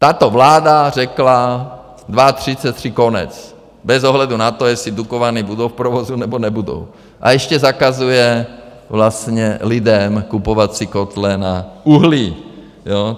Tato vláda řekla, 2033 konec bez ohledu na to, jestli Dukovany budou v provozu nebo nebudou a ještě zakazuje vlastně lidem kupovat si kotle na uhlí, jo.